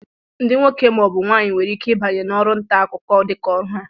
Ndị nwoke ma ọ bụ nwaanyị nwere ike ịbanye n'ọrụ nta akụkọ dịka ọrụ ha